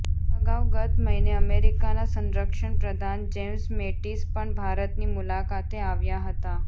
અગાઉ ગત મહિને અમેરિકાના સંરક્ષણપ્રધાન જેમ્સ મેટિસ પણ ભારતની મુલાકાતે આવ્યા હતાં